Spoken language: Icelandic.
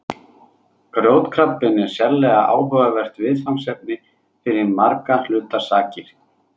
Grjótkrabbinn er sérlega áhugavert viðfangsefni fyrir margra hluta sakir.